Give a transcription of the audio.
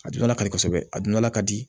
A dundala ka di kosɛbɛ a dundala ka di